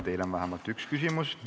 Teile on vähemalt üks küsimus.